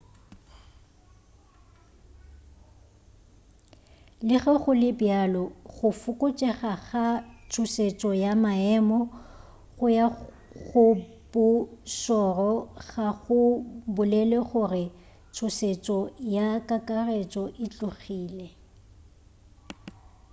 le ge go le bjalo go fokotšega ga tšhošetšo ya maemo go ya go bo šoro ga go bolele gore tšhošetšo ya kakaretšo e tlogile